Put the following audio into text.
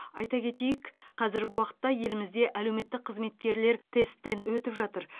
айта кетейік қазіргі уақытта елімізде әлеуметтік қызметкерлер тесттен өтіп жатыр